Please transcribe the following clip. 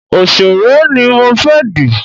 Òsèré ni mo fẹ́ dì